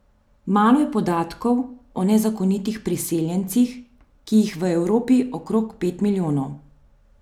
Malo je podatkov o nezakonitih priseljencih, ki jih je v Evropi okrog pet milijonov.